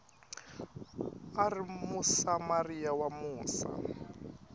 a ri musamariya wa musa